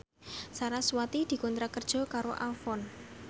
sarasvati dikontrak kerja karo Avon